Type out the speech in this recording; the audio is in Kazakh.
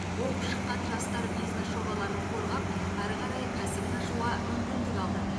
оқып шыққан жастар бизнес жобаларын қорғап әрі қарай кәсібін ашуға мүмкіндік алды